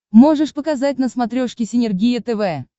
можешь показать на смотрешке синергия тв